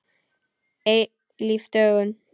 Eilíf dögun.